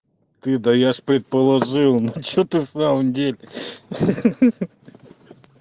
ты да я ж предположил ну что ты в самом деле ха-ха